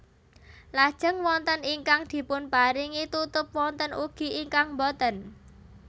Lajeng wonten ingkang dipunparingi tutup wonten ugi ingkang boten